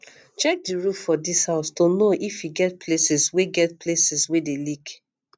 check di roof for di house to know if e get places wey get places wey dey leak